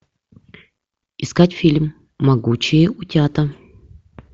искать фильм могучие утята